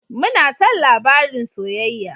Muna son labarin soyayya.